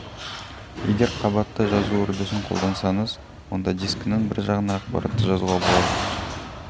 егер қабатты жазу үрдісін қолдансаңыз онда дискінің бір жағына ақпаратты жазуға болады